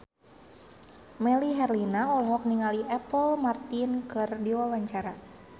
Melly Herlina olohok ningali Apple Martin keur diwawancara